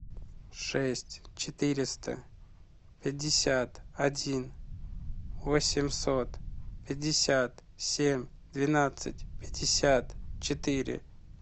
шесть четыреста пятьдесят один восемьсот пятьдесят семь двенадцать пятьдесят четыре